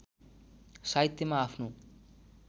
साहित्यमा आफ्नो